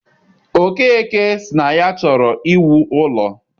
Okeke sị na ya chọrọ iwu ụlọ.